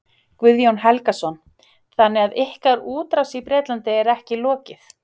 Guðjón Helgason: Þannig að ykkar útrás í Bretlandi er ekki lokið?